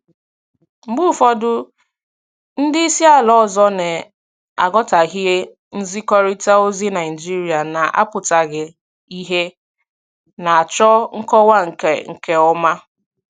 Mgbe ụfọdụ ndị isi ala ọzọ na-aghọtahie nzikọrịta ozi Naijiria na-apụtaghị ìhè, na-achọ nkọwa nke nke ọma.